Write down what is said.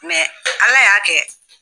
ala y'a kɛ.